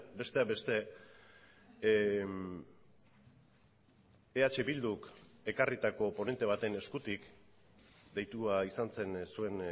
besteak beste eh bilduk ekarritako ponente baten eskutik deitua izan zen zuen